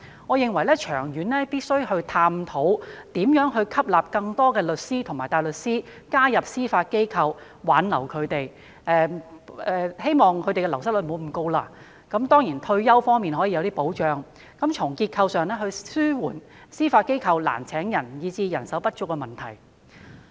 我認為，長遠而言，必須探討如何吸納更多律師及大律師加入司法機構，並且挽留他們，希望減低流失率，當然亦可提供一些退休方面的保障，藉以從結構上紓緩司法機構因招聘困難而導致人手不足的問題。